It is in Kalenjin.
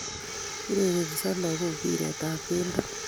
Urerensot lagook mbiret tab keldo